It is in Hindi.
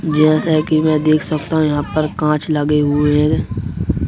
जैसे कि मैं देख सकता हूं यहाँ पर कांच लगे हुए हैं।